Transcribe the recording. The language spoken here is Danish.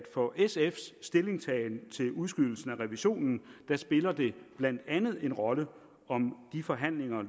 for sf’s stillingtagen til udskydelsen af revisionen spiller det blandt andet en rolle om de forhandlinger